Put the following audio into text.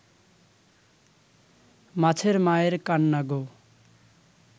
মাছের মায়ের কান্না গো